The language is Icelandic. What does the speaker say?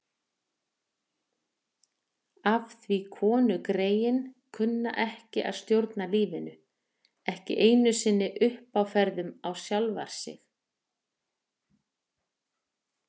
Af því konugreyin kunna ekki að stjórna lífinu, ekki einu sinni uppáferðum á sjálfar sig.